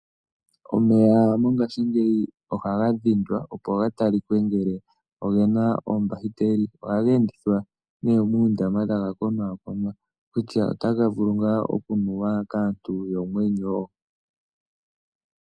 Omeya mongashingeyi ohaga dhindwa opo gatalikwe ngele ogena oombakiteli, ohaga endithwa ne muundama taga konaakonwa kutya otaga vulu ngaa okunuwa kaantu yomwenyo.